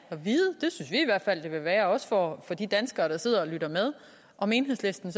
at fald det vil være også for de danskere der sidder og lytter med om enhedslisten